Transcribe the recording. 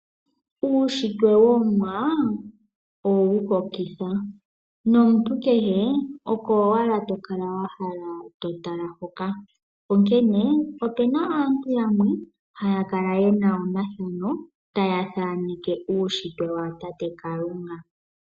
Uushitwe woOmuwa owu hokitha nomuntu kehe oko owala to kala wahala oku tala hoka, onkene opuna aantu yamwe haya kala ye na omathanao taya thaneke uushitwe wa tate kalunga.